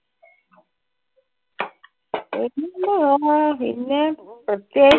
എന്തുവാ പിന്നെ പ്രേത്യേകിച്ച്?